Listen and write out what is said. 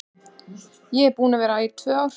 Ég er búin að vera tvö ár.